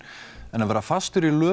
en að vera fastur í